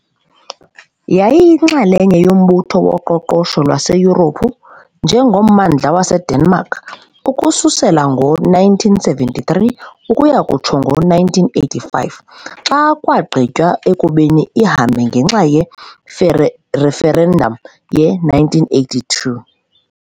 Yayiyinxalenye yoMbutho woQoqosho lwaseYurophu, njengommandla waseDenmark, ukususela ngo-1973 ukuya kutsho ngo-1985, xa kwagqitywa ekubeni ihambe ngenxa ye-referendum ye-1982.